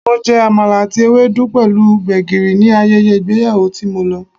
Mo jẹ Àmàlà àti Ewedu pẹ̀lú gbegiri ní ayẹyẹ ìgbéyàwó tí mo lọ.